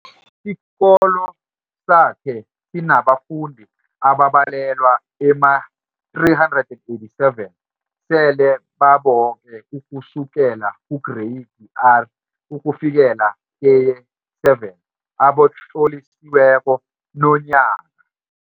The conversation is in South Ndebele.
Isikolo sakhe sinabafundi ababalelwa ema-387 sele baboke ukusukela kuGreyidi R ukufikela keye-7 abatlolisiweko nonyaka.